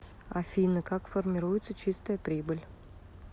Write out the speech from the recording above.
афина как формируется чистая прибыль